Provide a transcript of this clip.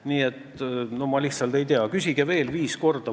Nii et ma lihtsalt ei tea – küsige veel viis korda.